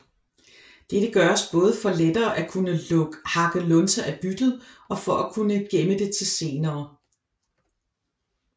Dette gøres både for lettere at kunne hakke lunser af byttet og for at kunne gemme det til senere